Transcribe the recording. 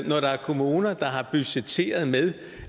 når der er kommuner der har budgetteret med